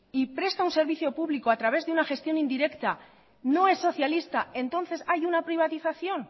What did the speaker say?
y presta un servicio público a través de una gestión indirecta no es socialista entonces hay una privatización